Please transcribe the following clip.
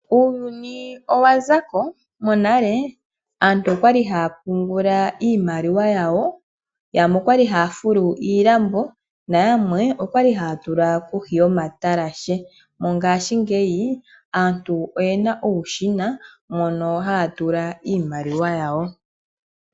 Uuyuni owa zako. Monale aantu okwali haya pungula iimaliwa yawo, yamwe okwali haya fulu oshilambo, na yamwe ohaya tula kohi yomatalashe. Mongashingeyi aantu oyena uushina mono haya tula iimaliwa yawo.